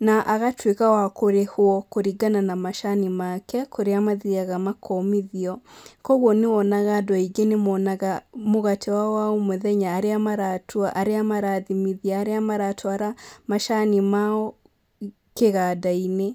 na agatuĩka wa kũrĩhwo kũringa na macani make, kũrĩa mathiaga makomithio, koguo nĩwonaga andũ aingĩ nĩmonaga mũgate wao wa o mũthenya arĩa maratua, arĩa marathimithia, arĩa maratwara macani mao kĩganda-inĩ.